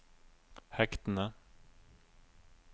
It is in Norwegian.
hektene